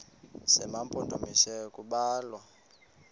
zema mpondomise kubalwa